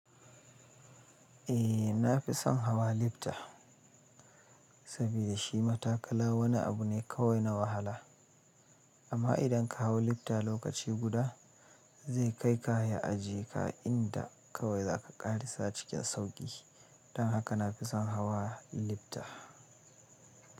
Eh, na fi son hawa lifta saboda shi matakala wani abu ne kawai na wahala. Amma idan ka hau lifta lokaci guda, zai kai ka ya ajiye ka inda kawai za ka ƙarasa cikin sauƙi. Don haka na fi son hawa lifta.